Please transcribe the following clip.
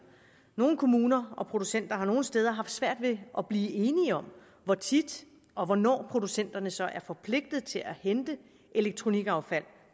nogle kommuner og producenter har nogle steder haft svært ved at blive enige om hvor tit og hvornår producenterne så er forpligtet til at hente elektronikaffald